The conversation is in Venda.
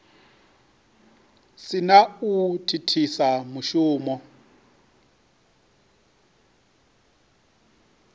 si na u thithisa mushumo